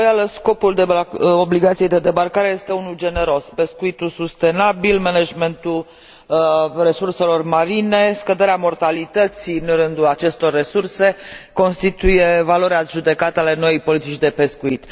Fără îndoială, scopul obligației de debarcare este unul generos pescuitul sustenabil, managementul resurselor marine, scăderea mortalității în rândul acestor resurse toate acestea constituie valori adjudecate ale noii politici de pescuit.